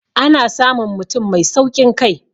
ana samun mutum Mai saukin Kai